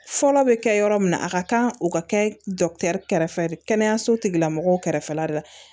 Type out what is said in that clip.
Fɔlɔ bɛ kɛ yɔrɔ min na a ka kan o ka kɛ kɛrɛfɛ kɛnɛyaso tigilamɔgɔw kɛrɛfɛla de la